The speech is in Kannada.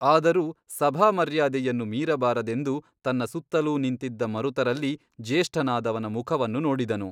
ಆದರೂ ಸಭಾಮರ್ಯಾದೆಯನ್ನು ಮೀರಬಾರದೆಂದು ತನ್ನ ಸುತ್ತಲೂ ನಿಂತಿದ್ದ ಮರುತರಲ್ಲಿ ಜ್ಯೇಷ್ಠನಾದವನ ಮುಖವನ್ನು ನೋಡಿದನು.